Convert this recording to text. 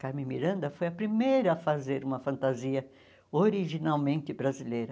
Carmen Miranda foi a primeira a fazer uma fantasia originalmente brasileira.